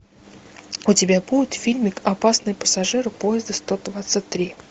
у тебя будет фильмик опасный пассажир поезда сто двадцать три